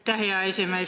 Aitäh, hea esimees!